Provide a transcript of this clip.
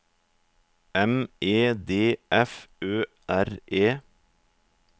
M E D F Ø R E